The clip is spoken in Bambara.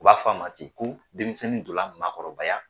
U b'a fɔ ma ten ko denmisɛnnin donna maakɔrɔbaya